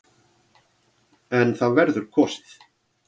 En það verður kosið.